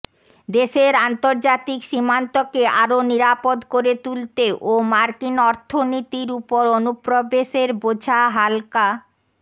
দেশের আন্তর্জাতিক সীমান্তকে আরও নিরাপদ করে তুলতে ও মার্কিন অর্থনীতির উপর অনুপ্রবেশের বোঝা হাল্কা